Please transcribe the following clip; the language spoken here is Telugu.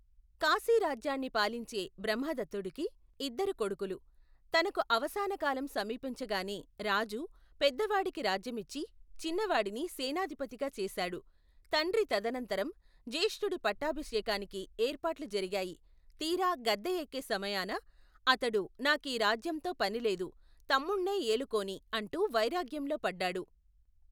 కాశీరాజ్యాన్ని పాలించే, బ్రహ్మదత్తుడికి, ఇద్దరు కొడుకులు, తనకు అవసానకాలం సమీపించగానే, రాజు, పెద్దవాడికి రాజ్యమిచ్చి, చిన్నవాడిని, సేనాధిపతిగా చేశాడు, తండ్రి తదనంతరం, జ్యేష్ఠుడి పట్టాభిషేకానికి, ఏర్పాట్లు జరిగాయి, తీరా, గద్దె యెక్కే సమయాన, అతడు, నా కీ రాజ్యంతో పని లేదు, తమ్ముణ్ణే ఏలుకోనీ, అంటూ, వైరాగ్యంలో పడ్డాడు.